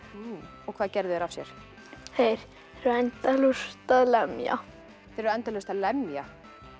og hvað gerðu þeir af sér þeir eru endalaust að lemja þeir eru endalaust að lemja